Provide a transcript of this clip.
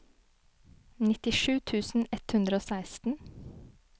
nittisju tusen ett hundre og seksten